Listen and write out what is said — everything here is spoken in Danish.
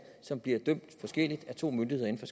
som bliver dømt forskelligt af to myndigheder inden